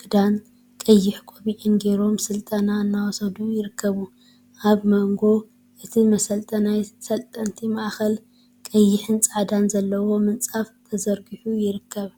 ክዳንን ቀይሕ ቆቢዕን ገይሮም ስልጠና እናወሰዱ ይርከቡ፡፡ አብ መንጎ እቲ መሰልጠናይን ሰልጠንቲን ማእከል ቀይሕን ፃዕዳን ዘለዎ ምንፃፍ ተዘርጊሑ ይርከብ፡፡